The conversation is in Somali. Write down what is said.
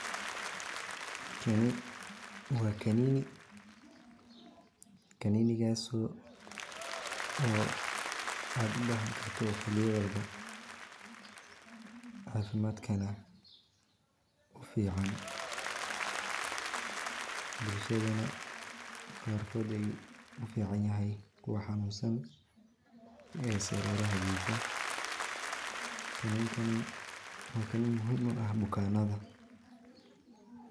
Kani waa kanini kaninigaas oo aad ubahan walbo xili walba oo cafimadka ufican bulshada qarkood ufican yahay waa kaniin muhiim ah bukanada.